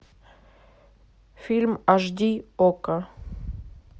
фильм аш ди окко